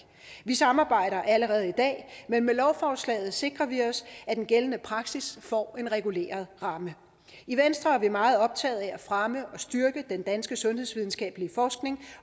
vi samarbejder allerede i dag men med lovforslaget sikrer vi os at den gældende praksis får en reguleret ramme i venstre er vi meget optaget af at fremme og styrke den danske sundhedsvidenskabelige forskning